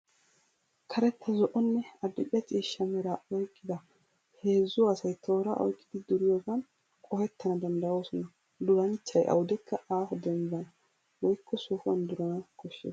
Karetta zo'onne adil'e ciishsha meraa oyqqida heezzu asay tooraa oyqqidi duriyogan qohettana danddoyoosona. Durssanchchay awudekka aaho dembban woykko sohuwan durana koshshes.